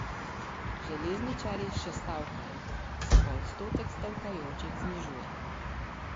Železničarji še stavkajo, se pa odstotek stavkajočih znižuje.